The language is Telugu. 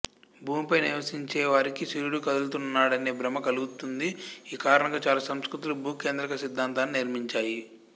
భూమిపై నివసించేవారికి సూర్యుడు కదులుతున్నాడనే భ్రమ కలుగుతుంది ఈ కారణంగా చాలా సంస్కృతులు భూకేంద్రక సిద్ధాంతాన్ని నిర్మించాయి